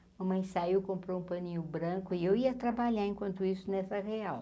Mamãe saiu, comprou um paninho branco, e eu ia trabalhar enquanto isso nessa real.